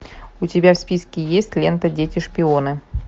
у тебя в списке есть лента дети шпионов